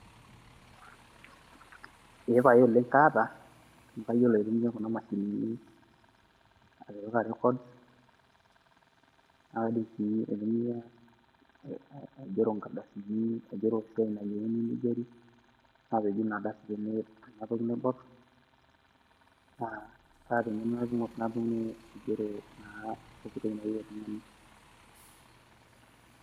Epae oleng' kaata, kayiolo aitumia kuna mashinini atipika rekod, nakaidim si aitumia aigero nkardasini, aigero esiai nayieuni nigeri, napeju inardasi tene tena toki naibor, na kaata eng'eno natumie aigero naa pooki toki nayieu oltung'ani.